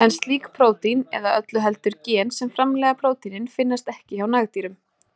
En slík prótín, eða öllu heldur gen sem framleiða prótínin, finnast ekki hjá nagdýrum.